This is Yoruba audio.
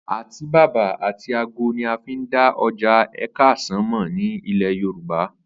Àtíbàbà àti àgó̩ ni a fi n dá o̩jà Àkè̩sán mò̩ ní ilè̩ Yorùbá